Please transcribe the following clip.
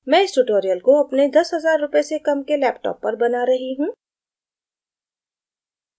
मैं इस tutorial को अपने 10000 rupee से कम के laptop पर बना रही हूँ